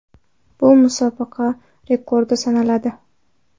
Bu musobaqa rekordi sanaladi .